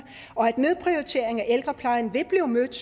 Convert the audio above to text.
og at nedprioritering af ældreplejen vil blive mødt